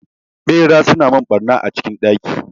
Ɓeraye suna mun ɓarna a cikin ɗaki